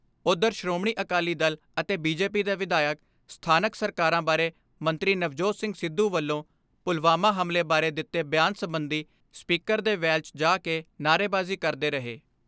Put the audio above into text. ਉਧਰ ਸ਼੍ਰੋਮਣੀ ਅਕਾਲੀ ਦਲ ਅਤੇ B J P ਦੇ ਵਿਧਾਇਕ, ਸਥਾਨਕ ਸਰਕਾਰਾਂ ਬਾਰੇ ਮੰਤਰੀ ਨਵਜੋਤ ਸਿੰਘ ਸਿੱਧੂ ਵੱਲੋਂ ਪੁਲਵਾਮਾ ਹਮਲੇ ਬਾਰੇ ਦਿੱਤੇ ਬਿਆਨ ਸਬੰਧੀ ਸਪੀਕਰ ਦੇ ਵੈਲ 'ਚ ਜਾ ਕੇ ਨਾਹਰੇਬਾਜੀ ਕਦੇ ਰਹੇ।